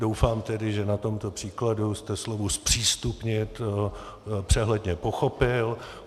Doufám tedy, že na tomto příkladu jste slovo zpřístupnit přehledně pochopil.